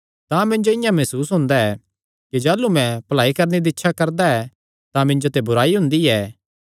तां मिन्जो इआं मसूस हुंदा ऐ कि जाह़लू मैं भलाई करणे दी इच्छा करदा ऐ तां मिन्जो ते बुराई हुंदी ऐ